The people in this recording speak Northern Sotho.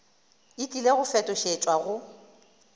e tlile go fetošetšwa go